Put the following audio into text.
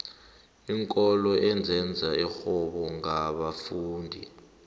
iinkolo ezenza irhwebo ngabafundi